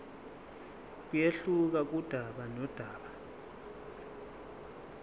kuyehluka kudaba nodaba